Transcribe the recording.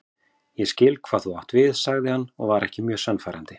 Ég skil hvað þú átt við sagði hann og var ekki mjög sannfærandi.